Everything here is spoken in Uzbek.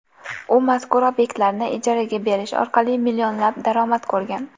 U mazkur obyektlarni ijaraga berish orqali millionlab daromad ko‘rgan.